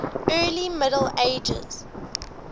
early middle ages